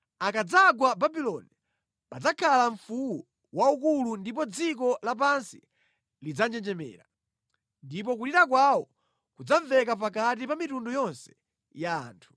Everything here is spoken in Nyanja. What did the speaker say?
Akadzagwa Babuloni padzakhala mfuwu waukulu ndipo dziko lapansi lidzanjenjemera, ndipo kulira kwawo kudzamveka pakati pa mitundu yonse ya anthu.